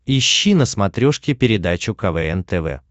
ищи на смотрешке передачу квн тв